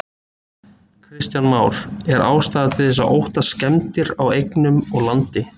Kristján Már: Er ástæða til þess að óttast skemmdir á eignum og landi?